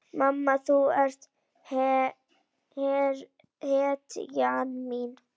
Mamma þú ert hetjan mín.